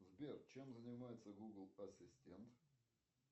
сбер чем занимается гугл ассистент